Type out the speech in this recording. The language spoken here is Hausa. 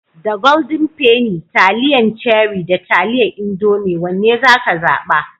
Da Golden penny, taliyan Cherie da taliyar Indomie wanne zaka zaɓa?